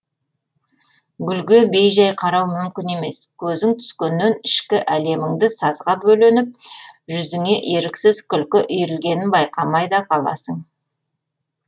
гүлге бей жай қарау мүмкін емес көзің түскеннен ішкі әлеміңді сазға бөленіп жүзіңе еріксіз күлкі үйірілгенін байқамай да қаласың